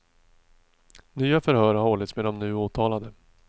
Nya förhör har hållits med de nu åtalade.